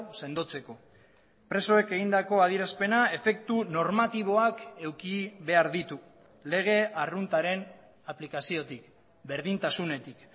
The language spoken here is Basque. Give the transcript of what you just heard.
sendotzeko presoek egindako adierazpena efektu normatiboak eduki behar ditu lege arruntaren aplikaziotik berdintasunetik